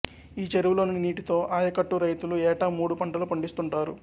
ఈ చెరువులోని నీటితో ఆయకట్టు రైతులు ఏటా మూడు పంటలు పండిస్తుంటారు